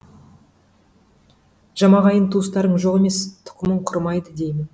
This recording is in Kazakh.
жамағайын туыстарың жоқ емес тұқымың құрымайды деймін